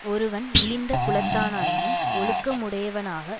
ஒருவன் இழிந்த குலத்தானாயினும் ஒழுக்க முடையவனாக